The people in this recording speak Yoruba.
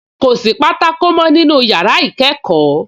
Kò sí pátákó mọ́ nínú yàrá ìkẹ́kọ̀ọ́